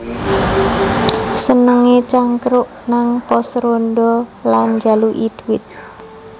Senengé cangkruk nang pos rondha lan njaluki dhuwit